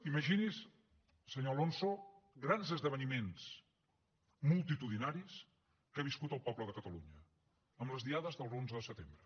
imagini’s senyor alonso grans esdeveniments multitudinaris que ha viscut el poble de catalunya amb les diades de l’onze de setembre